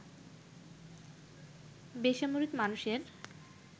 বেসামরিক মানুষের